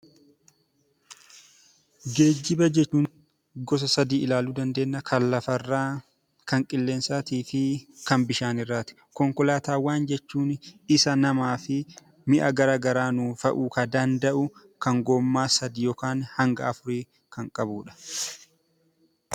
Geejjiba kan jennu gosa sadii ilaaluu dandeenya: kan lafarraa, kan qilleensaatii fi kan bishaan irraati. Konkolaataawwan jechuun isa namaa fi mi'a gara garaa nuu fe'uu ka danda'u, kan goommaa sadii yookaan hanga afurii kan qabudha.